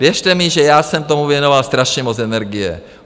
Věřte mi, že já jsem tomu věnoval strašně moc energie.